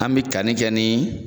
An be kanni kɛ ni